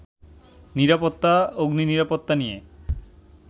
নিরাপত্তা, অগ্নিনিরাপত্তা নিয়ে